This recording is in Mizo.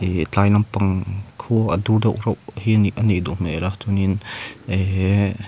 ihh tlai lampang khua a dur deuh reuh hi a nih a nih duh hmel a chuanin eehh--